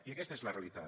i aquesta és la realitat